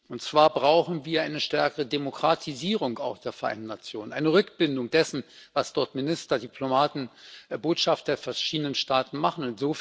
Und zwar brauchen wir eine stärkere Demokratisierung auch der Vereinten Nationen, eine Rückbindung dessen, was dort Minister, Diplomaten, Botschafter der verschiedenen Staaten machen.